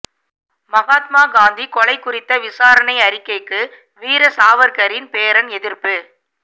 மகாத்மா காந்தி கொலை குறித்த விசாரணை அறிக்கைக்கு வீர சாவர்க்கரின் பேரன் எதிர்ப்பு